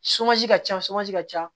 ka ca ka ca